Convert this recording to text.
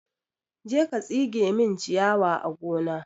Je ka tsige min ciyawa a gona!